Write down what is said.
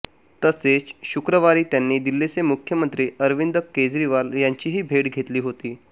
तसेच शुक्रवारी त्यांनी दिल्लीचे मुख्यमंत्री अरविंद केजरीवाल यांचीही भेट घेतली होती